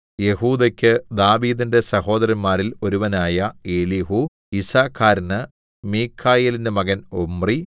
യെഹൂദെക്ക് ദാവീദിന്റെ സഹോദരന്മാരിൽ ഒരുവനായ എലീഹൂ യിസ്സാഖാരിന് മീഖായേലിന്റെ മകൻ ഒമ്രി